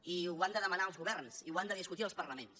i ho han de demanar els governs i ho han de discutir els parlaments